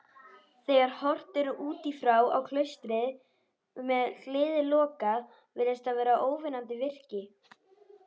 Þegar horft er útífrá á klaustrið, með hliðið lokað, virðist það vera óvinnandi virki.